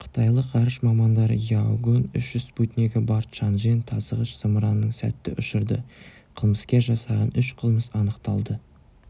қытайлық ғарыш мамандары яогань үш спутнигі бар чанчжэн тасығыш-зымыранын сәтті ұшырды қылмыскер жасаған үш қылмыс анықталды